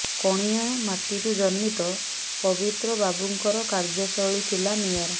କଣିହାଁ ମାଟିରୁ ଜନ୍ମିତ ପବିତ୍ର ବାବୁଙ୍କର କାର୍ଯ୍ୟ ଶୈଳି ଥିଲା ନିଆରା